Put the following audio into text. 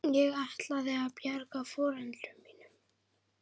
Ég ætlaði að bjarga foreldrum mínum.